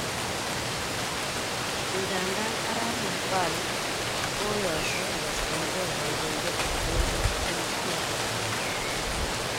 Ingandan arap Navalny kokoyosho koborchinge kondoidet tab emet eng kiy agetugul